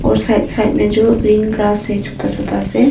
और side side में जो ग्रीन ग्रास है छोटा छोटा से।